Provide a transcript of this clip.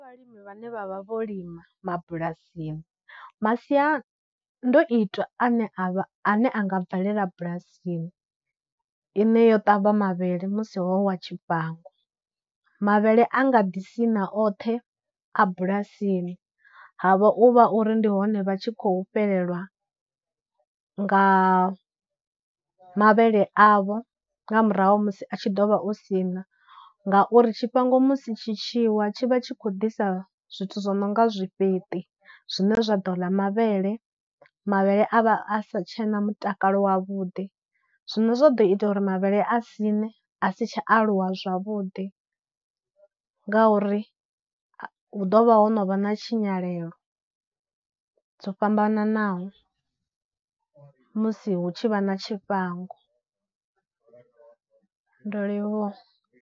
Vhalimi vhane vha vha vho lima mabulasini. Masiandoitwa ane a vha a ne a nga bvelela bulasini ine yo ṱavha mavhele musi ho wa tshifhango, mavhele a nga ḓi siṋa oṱhe a bulasini, havha uvha uri ndi hone vha tshi khou fhelelwa nga mavhele avho nga murahu musi a tshi ḓovha o siṋa ngauri, tshifhango musi tshi tshi wa tshi vha tshi khou ḓisa zwithu zwi nonga zwifheṱi zwine zwa ḓo ḽa mavhele, mavhele a vha a sa tshena mutakalo wavhuḓi. Zwine zwa ḓo ita uri mavhele a siṋe a si tsha aluwa zwavhuḓi ngauri hu ḓovha ho no vha na tshinyalelo dzo fhambananaho musi hu tshi vha na tshifhango, ndo livhuwa.